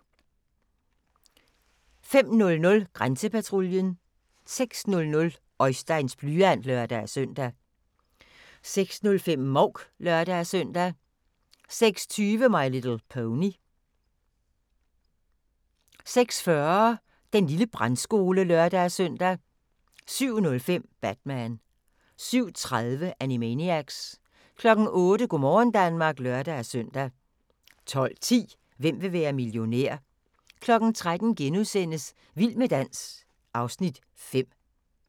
05:00: Grænsepatruljen 06:00: Oisteins blyant (lør-søn) 06:05: Mouk (lør-søn) 06:20: My Little Pony 06:40: Den lille brandskole (lør-søn) 07:05: Batman 07:30: Animaniacs 08:00: Go' morgen Danmark (lør-søn) 12:10: Hvem vil være millionær? 13:00: Vild med dans (Afs. 5)*